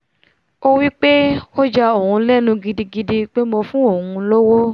ó wí pé ó ya òun lẹ́nu gidi pé mo fún òun lówó